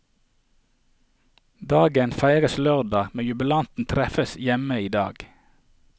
Dagen feires lørdag, men jubilanten treffes hjemme i dag.